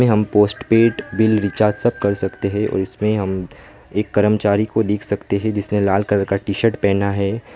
हम postpaid bill recharge सब कर सकते हैं और इसमें हम एक कर्मचारी को देख सकते हैं जिसने लाल कलर का टी शर्ट पहना है।